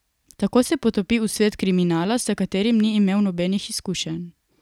Tako se potopi v svet kriminala, s katerim ni imel nobenih izkušenj.